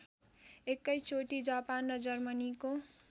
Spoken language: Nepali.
एकैचोटि जापान र जर्मनीको